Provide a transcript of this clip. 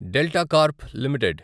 delta Corp limited